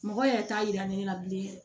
Mɔgɔ yɛrɛ t'a yira ne la bilen yɛrɛ